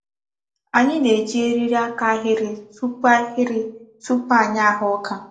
Ányị na-eji eriri aka ahịrị tupu ahịrị tupu anyị ágha ọ́ka.